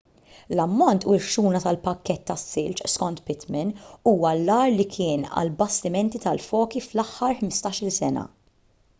l-ammont u l-ħxuna tal-pakkett tas-silġ skont pittman huwa l-agħar li kien għall-bastimenti tal-foki fl-aħħar 15-il sena